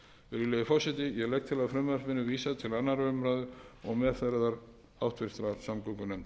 legg til að frumvarpinu verði vísað til annarrar umræðu og meðferðar háttvirtrar samgöngunefndar